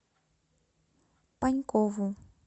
панькову